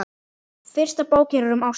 Fyrsta bókin er um ástina.